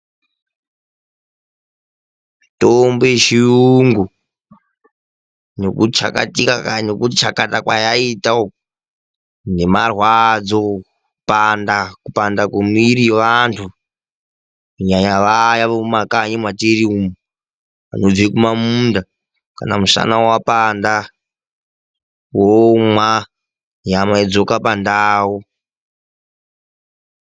Mitombo yechiyungu nekuchakatika, nekutichakata kwayaita uku nemarwadzo, kupanda kwemwiri yevantu, kunyanya vaya vemumakanyi mwatiri umwu vanobve kumamunda kana mushana wapanda, vomwa nyama yodzoka pandau.